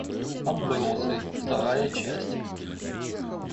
отбросы вторая часть